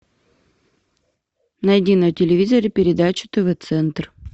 найди на телевизоре передачу тв центр